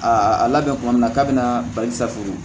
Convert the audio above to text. Aa a labɛn tuma min na k'a bɛna bali safun